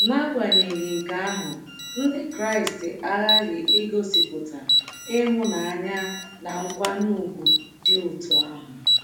N’agbanyeghị nke ahụ, Ndị Kraịst aghaghị igosipụta ịhụnanya na nkwanye ùgwù dị otú ahụ.